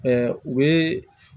u bɛ